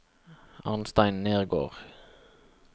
Arnstein Nergård